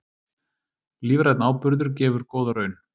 Lífrænn áburður gefur góða raun